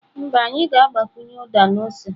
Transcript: Mba, anyị ga-agbakwunye uda na ose.